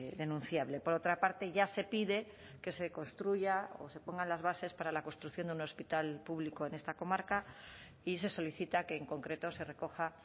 denunciable por otra parte ya se pide que se construya o se pongan las bases para la construcción de un hospital público en esta comarca y se solicita que en concreto se recoja